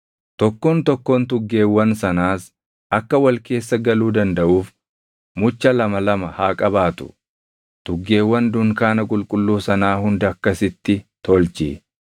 tokkoon tokkoon tuggeewwan sanaas akka wal keessa galuu dandaʼuuf mucha lama lama haa qabaatu; tuggeewwan dunkaana qulqulluu sanaa hunda akkasitti tolchi.